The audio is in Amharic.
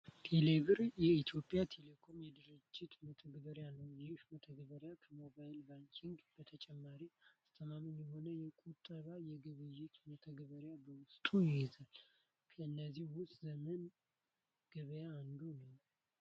ቴሌብር የኢትዮ ቴሌኮም የድጅታ መተግበሪያ ነው። ይህም መተግበሪያ ከሞባይል ባንኪንግ በተጨማሪ አስተማማኝ የሆኑ የቁጠባ፣ የግብይት መተግበሪያዎችን በውስጡ ይይዛል። ከእነዚህም ውስጥ ዘመን ገበያ አንዱ ነው።